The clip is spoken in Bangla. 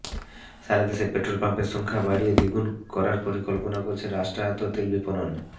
সারা দেশে পেট্রল পাম্পের সংখ্যা বাড়িয়ে দ্বিগুণ করার পরিকল্পনা করেছে রাষ্ট্রায়ত্ত তেল বিপণন